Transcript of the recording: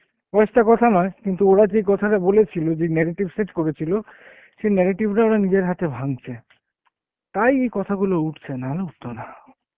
বয়েস টা কথা নয় কিন্তু ওরা যে কথাটা বলেছিল যে narrative set করেছিল সে narrative টা ওরা নিজের হাতে ভাঙছে, তাই এই কথাগুলো উটছে নাহলে উঠতোনা